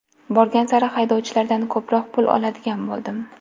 Borgan sari haydovchilardan ko‘proq pul oladigan bo‘ldim.